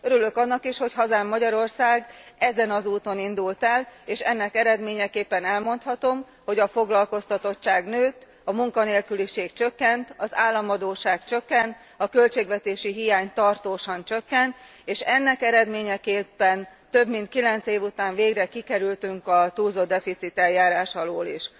Örülök annak is, hogy hazám, Magyarország ezen az úton indult el, és ennek eredményeképpen elmondhatom, hogy a foglalkoztatottság nőtt, a munkanélküliség csökkent, az államadósság csökkent, a költségvetési hiány tartósan csökkent, és ennek eredményeképpen több mint 9 év után végre kikerültünk a túlzottdeficit eljárás alól is.